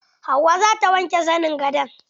Hauwa zata wanke zanin gadon.